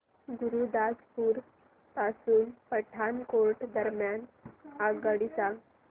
गुरुदासपुर पासून पठाणकोट दरम्यान आगगाडी सांगा